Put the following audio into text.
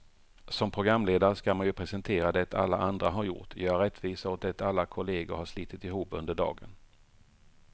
Som programledare ska man ju presentera det alla andra har gjort, göra rättvisa åt det alla kollegor har slitit ihop under dagen.